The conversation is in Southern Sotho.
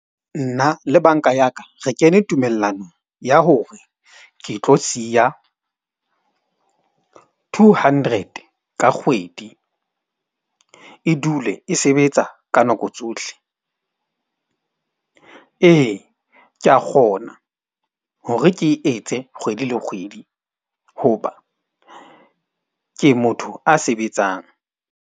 Nna le bank-a ya ka, re kene tumellanong ya hore ke tlo siya two hundred ka kgwedi. E dule e sebetsa ka nako tsohle. Ee, ke a kgona hore ke e etse kgwedi le kgwedi hoba ke motho a sebetsang.